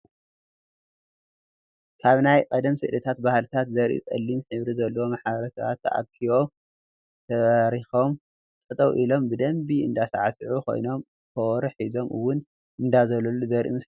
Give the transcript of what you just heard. ካብ ናይ ቀደም ስእልታት ባህልታት ዘርኢ ፀሊም ሕብሪ ዘለዎ ማሕበረሰባት ተኣኪቦ ተበረኪኮም ጠጠው ኢሎም ብደንቢ እንዳሳዕስዑን ኮይኖም ኮበሮ ሒዞም እወን እንዳዘለሉ ዘርኢ ምስሊ እዩ።